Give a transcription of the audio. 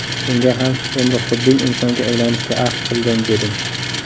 Unga ham: ‘Endi xudbin insonga aylanishga ahd qildim’, dedim.